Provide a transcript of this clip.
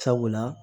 Sabula